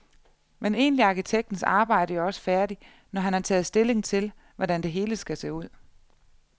Men egentlig er arkitektens arbejde jo også færdigt, når han har taget stilling til, hvordan det hele skal se ud.